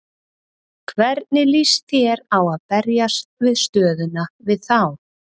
Hvernig lýst þér á að berjast við stöðuna við þá?